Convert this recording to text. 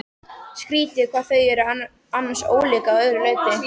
Skrýtið hvað þau eru annars ólík að öllu leyti.